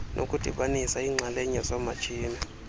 nokudibanisa iinxalenye zoomatshini